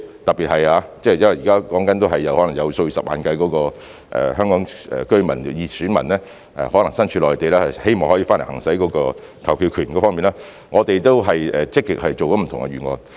特別是因為現在所說的是，可能有數以十萬計身處內地的香港居民、選民希望可以回來行使投票權，我們已積極作出不同預案。